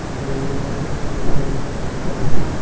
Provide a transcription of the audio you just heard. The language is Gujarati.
હા તો એવું હોય તો આપડે બધા હે ન circle આપડું